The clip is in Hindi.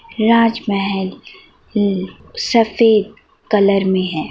राजमहल ल सफ़ेद कलर में है।